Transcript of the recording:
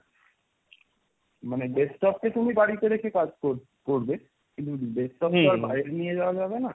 মানে desktop কে তুমি বাড়িতে রেখে কাজ কর~ করবে, কিন্তু desktop তো আর বাইরে নিয়ে যাওয়া যাবে না,